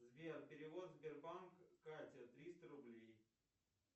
сбер перевод сбербанк катя триста рублей